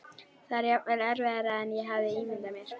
Það var jafnvel erfiðara en ég hafði ímyndað mér.